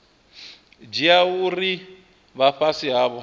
dzhia uri vha fhasi havho